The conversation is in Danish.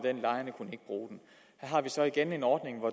af har vi så igen en ordning hvor